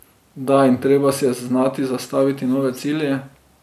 Da in treba si je znati zastaviti nove cilje.